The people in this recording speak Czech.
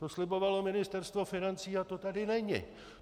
To slibovalo Ministerstvo financí a to tady není.